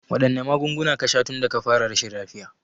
Waɗanne magunguna ka sha tunda ka fara rashin lafiya?